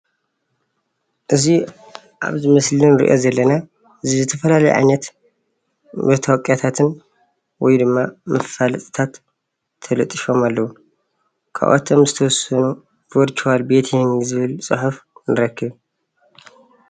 እዚ ኣብዚ ምስሊ እንሪኦ ዘለና ዝተፈላለዩ ዓይነት መተዋቅያታትን ወይ ድማ መፋለጥታት ተለጢፎም ኣለው። ኻብኣቶም ዝተወሰኑ ቨርቹዋል ቤቲንግ ዝብል ፅሑፍ ንረክብ ።